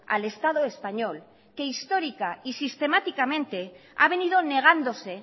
al estado español que histórica y sistemáticamente a venido negándose